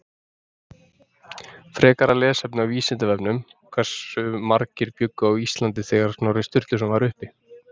Frekara lesefni á Vísindavefnum: Hversu margir bjuggu á Íslandi þegar Snorri Sturluson var uppi?